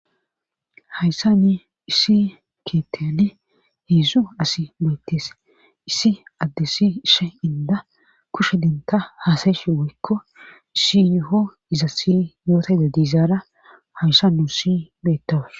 hayssani issi keetteni heedzdzu asi beettes issi addessi issi inda kushe denta haasayeshe woykko issi yuho iza si yootayza diizaara hayssa nusi beettawus